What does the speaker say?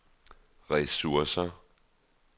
ressourcer